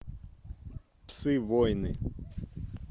псы войны